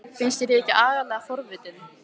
Finnst þér ég ekki agalega forvitin?